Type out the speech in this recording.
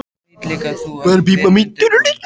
Veit líka að þú ert vel undirbúinn.